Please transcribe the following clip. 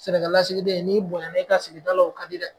Sɛnɛkɛlasigiden n'i bonya na i ka sigidala o ka di dɛ